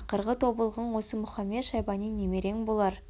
ақырғы тобылғың осы мұхамед-шайбани немерең болар